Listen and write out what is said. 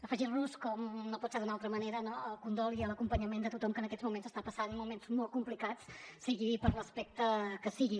afegir nos com no pot ser d’una altra manera no al condol i a l’acompanyament de tothom que en aquests moments està passant moments molt complicats sigui per l’aspecte que sigui